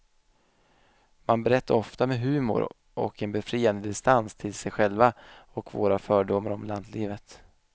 Man berättar ofta med humor och en befriande distans till sig själva och våra fördomar om lantlivet.